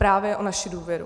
Právě o naši důvěru.